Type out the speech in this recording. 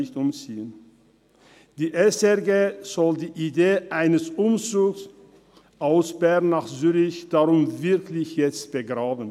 Die SRG soll die Idee eines Umzugs von Bern nach Zürich jetzt wirklich begraben.